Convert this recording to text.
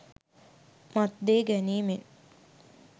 මත් දේ ගැනීමෙන්